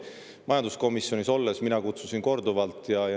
Majanduskomisjonis olles kutsusin mina neid korduvalt.